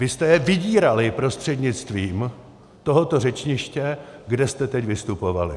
Vy jste je vydírali prostřednictvím tohoto řečniště, kde jste teď vystupovali!